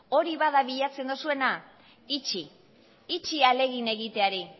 utzi ahalegin egiteari